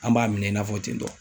An b'a minɛ i n'a fɔ ten tɔ.